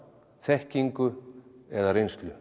þekkingu eða reynslu